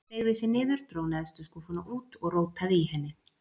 Beygði sig niður, dró neðstu skúffuna út og rótaði í henni.